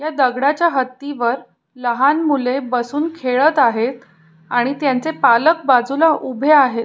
ह्या दगडाच्या हत्ती वर लहान मुल बसून खेळत आहेत आणि त्याचे पालक बाजूला उभे आहेत.